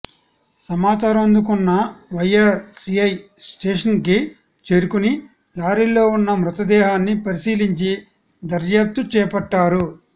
సమాచారం అందుకున్న వైరా సీఐ స్టేషన్కి చేరుకుని లారీలో ఉన్న మృతదేహాన్ని పరిశీలించి దర్యాప్తు చేపట్టారు